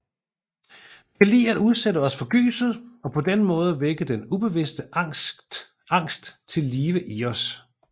Vi kan lide at udsætte os for gyset og på den måde vække den ubevidste angst til live i os